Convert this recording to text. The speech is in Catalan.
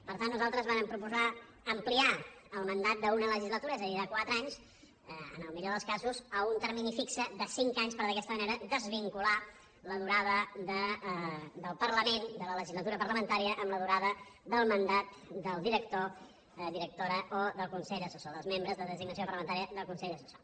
per tant nosaltres vàrem proposar ampliar el mandat d’una legislatura és a dir de quatre anys en el millor dels casos a un termini fix de cinc anys per d’aquesta manera desvincular la durada del parlament de la legislatura parlamentària amb la durada del mandat del director directora o del consell assessor dels membres de designació parlamentària del consell assessor